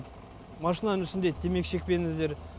машинаның үстінде темекі шекпеңіздер